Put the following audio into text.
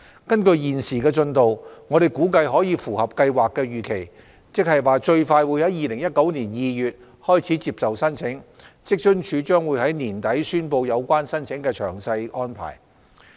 根據現時的進度，我們估計可以符合計劃的預期，最快於2019年2月開始接受申請，職津處將於年底宣布有關申請的詳細安排。